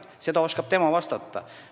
Sellele küsimusele oskavad nemad vastata.